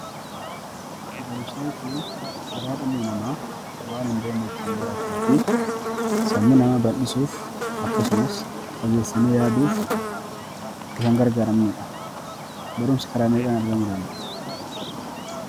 Barumsa jechuun karaa dhalli namaa waan hin beekne ittiin baratuufi sammuu namaa bal'isuuf akkasumas fageessanii yaaduuf itti kan gargaaramnudha.